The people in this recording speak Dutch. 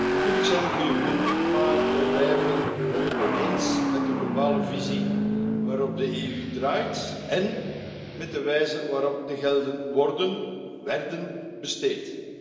Natuurlijk zijn er goede punten maar wij blijven het oneens met de globale visie waarop de EU draait en met de wijze waarop de gelden worden werden besteed.